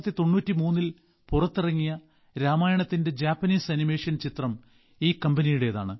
1993ൽ പുറത്തിറങ്ങിയ രാമായണത്തിന്റെ Japanese animation ചിത്രം ഈ കമ്പനിയുടെതാണ്